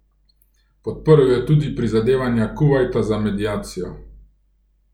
Podprl je tudi prizadevanja Kuvajta za mediacijo.